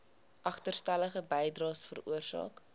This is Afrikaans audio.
agterstallige bydraes veroorsaak